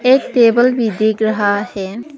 एक टेबल भी दिख रहा है।